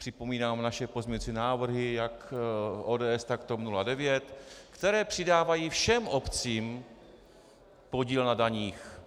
Připomínám naše pozměňovací návrhy, jak ODS, tak TOP 09, které přidávají všem obcím podíl na daních.